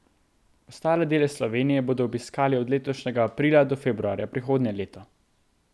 Ostale dele Slovenije bodo obiskali od letošnjega aprila do februarja prihodnje leto.